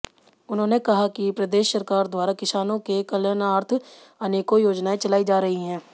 उन्होंने कहा कि प्रदेश सरकार द्वारा किसानों के कल्याणार्थ अनेकों योजनाऐं चलाई जा रही हैं